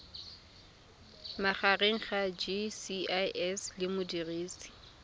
magareng ga gcis le modirisi